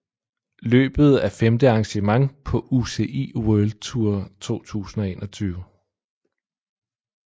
Løbet er femte arrangement på UCI World Tour 2021